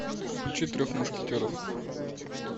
включи трех мушкетеров